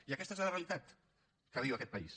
i aquesta és la realitat que viu aquest país